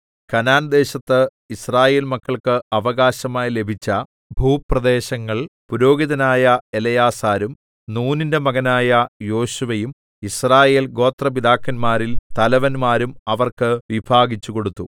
കനാൻദേശത്ത് യിസ്രായേൽ മക്കൾക്ക് അവകാശമായി ലഭിച്ച ഭൂപ്രദേശങ്ങൾ പുരോഹിതനായ എലെയാസാരും നൂനിന്റെ മകനായ യോശുവയും യിസ്രായേൽഗോത്രപിതാക്കന്മാരിൽ തലവന്മാരും അവർക്ക് വിഭാഗിച്ചു കൊടുത്തു